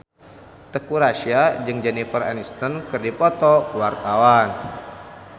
Teuku Rassya jeung Jennifer Aniston keur dipoto ku wartawan